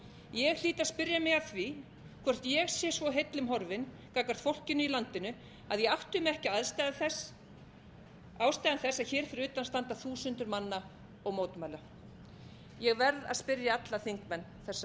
ég hlýt að spyrja mig að því hvort ég sé svo heillum horfin gagnvart fólkinu í landinu að ég átti mig ekki á ástæðum þess að hér fyrir utan standa þúsundir manna og mótmæla ég verð að spyrja alla þingmenn þessarar sömu